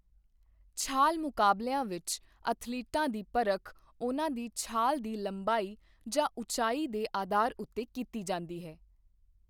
ਛਾਲ ਮੁਕਾਬਲਿਆਂ ਵਿੱਚ, ਅਥਲੀਟਾਂ ਦੀ ਪਰਖ ਉਹਨਾਂ ਦੀ ਛਾਲ ਦੀ ਲੰਬਾਈ ਜਾਂ ਉਚਾਈ ਦੇ ਅਧਾਰ ਉੱਤੇ ਕੀਤੀ ਜਾਂਦੀ ਹੈ।